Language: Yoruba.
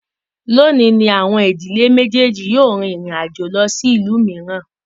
Lónìí ní àwọn ìdílé méjèèjì yíò rin ìrìn àjò lọ sí ìlú mìíràn